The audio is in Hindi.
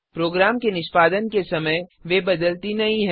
प्रोग्राम के निष्पादन के समय वे बदलती नहीं हैं